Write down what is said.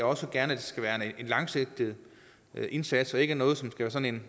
også gerne skal være en langsigtet indsats og ikke noget som er sådan